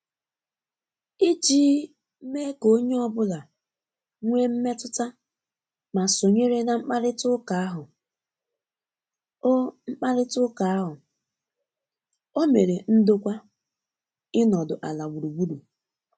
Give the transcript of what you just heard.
ijii mee ka onye ọbụla nwee mmetụta ma sonyere na mkparịta uka ahu,o mkparịta uka ahu,o mere ndokwa inodu ala gburugburu